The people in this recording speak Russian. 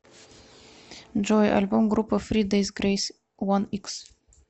джой альбом группы фри дейс грейс уан икс